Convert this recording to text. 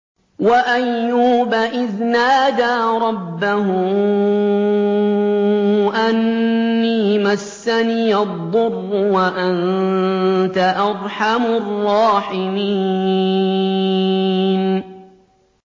۞ وَأَيُّوبَ إِذْ نَادَىٰ رَبَّهُ أَنِّي مَسَّنِيَ الضُّرُّ وَأَنتَ أَرْحَمُ الرَّاحِمِينَ